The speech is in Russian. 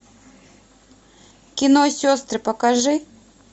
кино сестры покажи